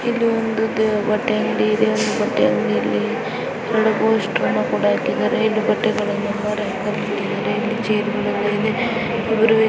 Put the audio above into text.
ಇಲ್ಲಿ ಒಂದು ದ- ಬಟ್ಟೆ ಅಂಗಡಿ ಇದೆ ಬಟ್ಟೆ ಅಂಗಡಿಯಲ್ಲಿ ಎರಡು ಪೋಸ್ಟರ್ ನ ಕೂಡ ಹಾಕಿದ್ದಾರೆ ಇಲ್ಲಿ ಬಟ್ಟೆಗಳನ್ನ